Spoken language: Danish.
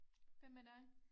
Hvad med dig?